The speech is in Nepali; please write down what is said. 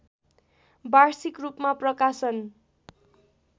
वार्षिकरूपमा प्रकाशन